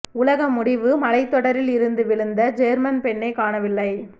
உலக முடிவு மலைத் தொடரில் இருந்து விழுந்த ஜேர்மன் பெண்ணைக் காணவில்லை